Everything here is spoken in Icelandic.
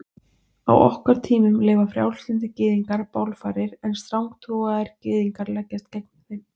Á okkar tímum leyfa frjálslyndir gyðingar bálfarir en strangtrúaðir gyðingar leggjast gegn þeim.